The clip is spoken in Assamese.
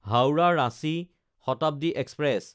হাওৰা–ৰাঞ্চি শতাব্দী এক্সপ্ৰেছ